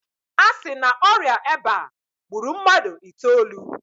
A si na ọrịa eba gburu mmadụ itoolu.